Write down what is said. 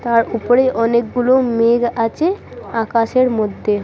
তার উপরে অনেকগুলো মেঘ আছে আকাশের মধ্যে ।